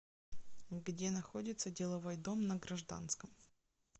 где находится деловой дом на гражданском